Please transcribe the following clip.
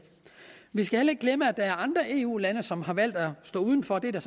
vi skal heller ikke glemme at der er andre eu lande som har valgt at stå uden for det er der